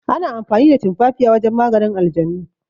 Ana amfani da tumafafiya wajen maganin aljanu.